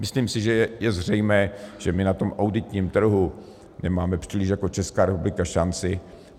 Myslím si, že je zřejmé, že my na tom auditním trhu nemáme příliš jako Česká republika šanci.